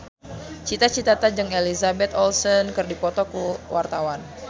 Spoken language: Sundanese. Cita Citata jeung Elizabeth Olsen keur dipoto ku wartawan